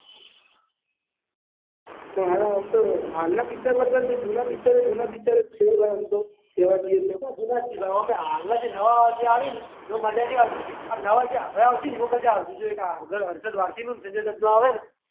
હારા ઓમ તો હાલના પિક્ચર કરતા જે જુના પિક્ચર છે તો જુના પિક્ચર જ છે કહેવા જઈએ. એતો જુના છે ભાઈ એમાં હાલના જે આવે ને એમાં મજા નથી આવતી નવા જે હમણાં આવશે ને એમાં મજા આવશે આ હર્ષદવારસી ને સંજય દત્તનું આવે ને.